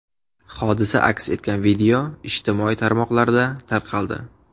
Hodisa aks etgan video ijtimoiy tarmoqlarda tarqaldi.